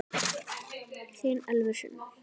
Þín Elfur Sunna.